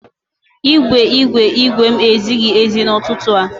Igwe igwe igwe m ezighi ezi n'ụtụtụ a.